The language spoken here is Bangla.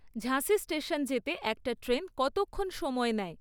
ঝাঁসি স্টেশন যেতে একটা ট্রেন কতক্ষণ সময় নেয়?